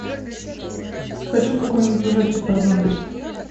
хочу какой нибудь ужастик про зомби